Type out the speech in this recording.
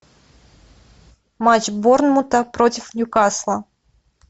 матч борнмута против ньюкасла